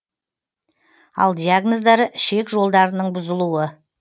ал диагноздары ішек жолдарының бұзылуы